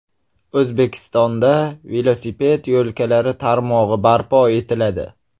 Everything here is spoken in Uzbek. O‘zbekistonda velosiped yo‘lkalari tarmog‘i barpo etiladi.